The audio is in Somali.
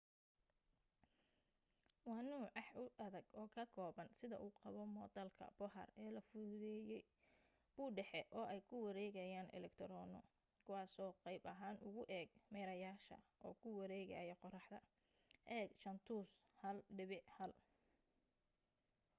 waa nooc aax u adag oo ka kooban sida uu qabo moodalka bohr ee la fududeeyay bu' dhexe oo ay ku wareegayaan elektaroono kuwaasoo qaab ahaan ugu eeg meerayaasha oo ku wareegaya qorraxda eeg jaantus 1.1